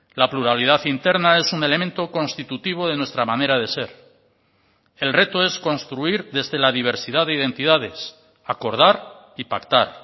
la pluralidad interna es un elemento constitutivo de nuestra manera de ser el reto es construir desde la diversidad de identidades acordar y pactar